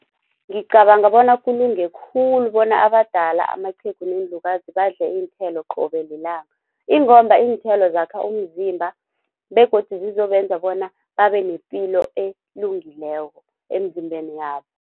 Ngicabanga bona kulunge khulu bona abadala amaqhegu neenlukazi badle iinthelo qobe lilanga ingomba iinthelo zakha umzimba begodu zizobenza bona babe nepilo elungileko emzimbeni yabo.